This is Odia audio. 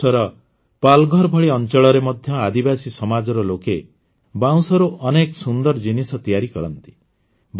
ମହାରାଷ୍ଟ୍ରର ପାଲ୍ଘର ଭଳି ଅଂଚଳରେ ମଧ୍ୟ ଆଦିବାସୀ ସମାଜର ଲୋକେ ବାଉଁଶରୁ ଅନେକ ସୁନ୍ଦର ଜିନିଷ ତିଆରି କରନ୍ତି